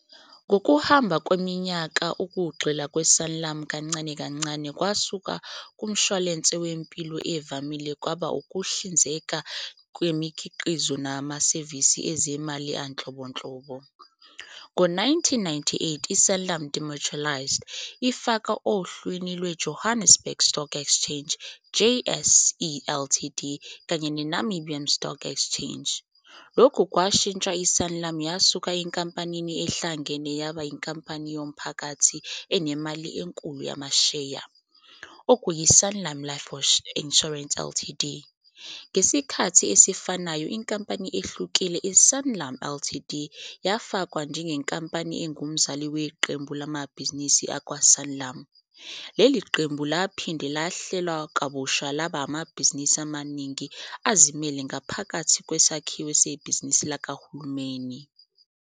Ngokuhamba kweminyaka, ukugxila kwe-Sanlam kancane kancane kwasuka kumshwalense wempilo evamile kwaba ukuhlinzeka ngemikhiqizo namasevisi ezezimali anhlobonhlobo. Ngo-1998 i-Sanlam demutualised, ifaka ohlwini lwe- Johannesburg Stock Exchange, JSE, Ltd kanye ne- Namibian Stock Exchange. Lokhu kwashintsha i-Sanlam yasuka enkampanini ehlangene yaba inkampani yomphakathi enemali enkulu yamasheya, okuyiSanlam Life Insurance Ltd. Ngesikhathi esifanayo inkampani ehlukile, iSanlam Ltd, yafakwa njengenkampani engumzali weqembu lamabhizinisi akwaSanlam. Leli qembu laphinde lahlelwa kabusha laba amabhizinisi amaningana azimele ngaphakathi kwesakhiwo sebhizinisi likahulumeni.